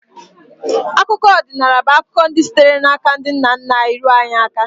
Akụkọ odịnaala bụ akụkọ sitere n’aka ndị nna nna anyị ruo anyị aka.